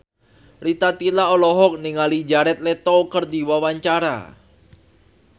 Rita Tila olohok ningali Jared Leto keur diwawancara